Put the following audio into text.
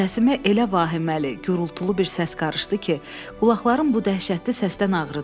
Səsimə elə vahiməli, gurultulu bir səs qarışdı ki, qulaqlarım bu dəhşətli səsdən ağrıdı.